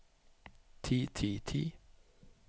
ti ti ti